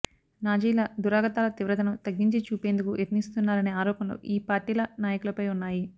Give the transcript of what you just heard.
నాజీల దురాగతాల తీవ్రతను తగ్గించి చూపేందుకు యత్నిస్తున్నారనే ఆరోపణలు ఈ పార్టీల నాయకులపై ఉన్నాయి